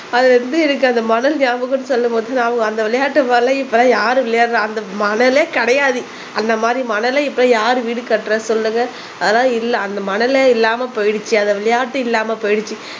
அதுல இருந்து எனக்கு அந்த மணல் ஞாபகம் சொல்லும் போது அவங்க அந்த விளையாட்டு போல இப்ப எல்லாம் யாரும் விளையாடறா அந்த மணலே கிடையாது அந்த மாரி மணல இப்ப யாரு வீடு கட்டுறது சொல்லுங்க அதனால இல்ல அந்த மணலே இல்லாம போயிடுச்சு அந்த விளையாட்டு இல்லாம போயிடுச்சு